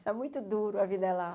Está muito duro, a vida lá.